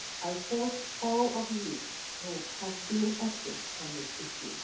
I thank all of you who have been active on this issue.